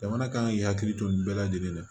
Jamana kan k'i hakili to nin bɛɛ lajɛlen la